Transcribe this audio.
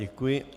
Děkuji.